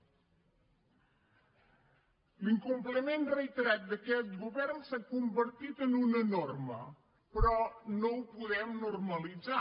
l’incompliment reiterat d’aquest govern s’ha convertit en una norma però no ho podem normalitzar